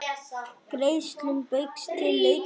Greiðslum Baugs til lögmanns rift